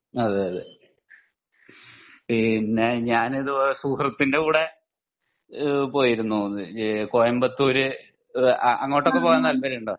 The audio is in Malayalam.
അതെയതെ. പിന്നെ ഞാൻ ഇതുപോലെ സുഹൃത്തിൻ്റെ കൂടെ ഈഹ് പോയിരുന്നു കോയമ്പത്തൂർ അഹ് അങ്ങോട്ടൊക്കെ പോവാൻ താല്പര്യം ഉണ്ടോ